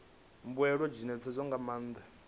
mbuelo dzi ṋetshedzwa nga maanḓa